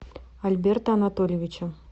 альберта анатольевича